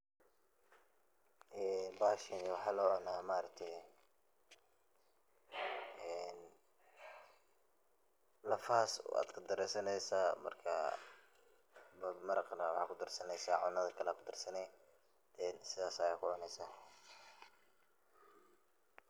Bahashan waxa locuna maaragte een lafahas ayad kadarsaneysa marka, maraqana waxa kudarsaneysa cunada kale ayad kudarsane marka sidas ayad kucuni.